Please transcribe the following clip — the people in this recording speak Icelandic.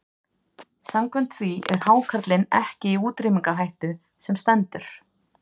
Samkvæmt því er hákarlinn ekki í útrýmingarhættu sem stendur.